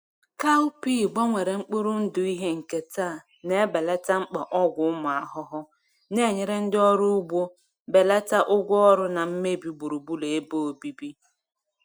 Cowpea gbanwere mkpụrụ ndụ ihe nketa na-ebelata mkpa ọgwụ ụmụ ahụhụ, na-enyere ndị ọrụ ugbo belata ụgwọ ọrụ na mmebi gburugburu ebe obibi.